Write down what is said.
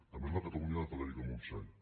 també és la catalunya de frederica montseny